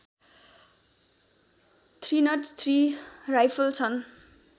थ्रीनट three rifle छन्